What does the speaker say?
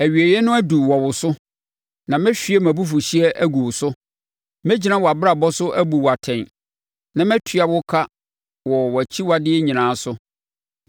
Awieeɛ no aduru wɔ wo so, na mɛhwie mʼabufuhyeɛ agu wo so. Mɛgyina wʼabrabɔ so abu wo atɛn, na matua wo ka wɔ wʼakyiwadeɛ nyinaa so.